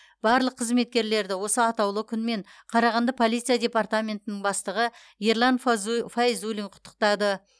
барлық қызметкерлерді осы атаулы күнмен қарағанды полиция департаментінің бастығы ерлан фазу файзуллин құттықтады